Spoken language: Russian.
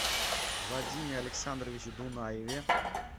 вадиме александровиче дунаеве